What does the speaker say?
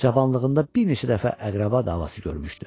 Cavanlığında bir neçə dəfə əqrəba davası görmüşdü.